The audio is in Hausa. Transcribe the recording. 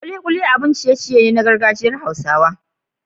Kulikuli abun ciye-ciye ne na gargajiyar hausa.